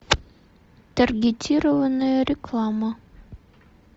таргетированная реклама